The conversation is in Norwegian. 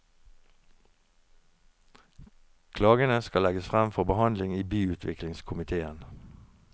Klagene skal legges frem for behandling i byutviklingskomitéen.